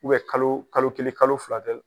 kalo kalo kelen, kalo fila dɛ.